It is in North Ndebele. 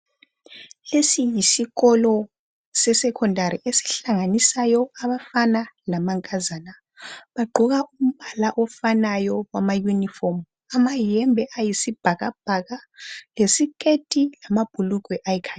Lesi yisikolo sesekhondari esihlanganisayo abafana lamankazana. Bagqoka umbala ofanayo wama yunifomu amayembe ayisibhakabhaka lesiketi lamabhulugwe ayikhakhi.